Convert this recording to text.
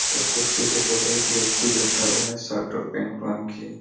उस कुर्सी के ऊपर पर एक व्यक्ति बैठा हुआ हैं सर्ट और पैंट पहन के--